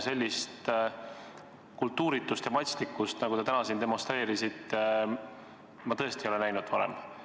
Sellist kultuuritust ja matslikkust, nagu te täna siin demonstreerisite, ma tõesti ei ole varem näinud.